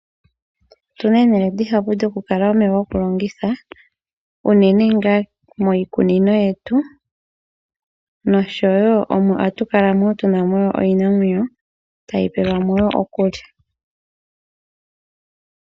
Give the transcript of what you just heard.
Otu na omahala ogendji gokukala omeya gokulongitha unene ngaa miikunino yetu oshowo ohatu kala tu namo iinamwenyo tayi peelwamo wo okulya.